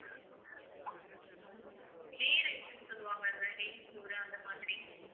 ghee rice ன்னு சொல்லுவாங்க இல்ல நெய் சோறு அந்த மாதிரி